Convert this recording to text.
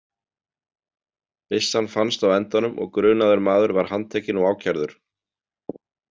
Byssan fannst á endanum og grunaður maður var handtekinn og ákærður.